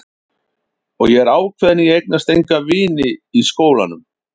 Og ég er ákveðin í að eignast enga vini í skólanum.